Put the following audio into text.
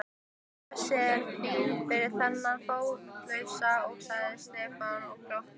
Þessi er fín fyrir þennan fótalausa sagði Stefán og glotti.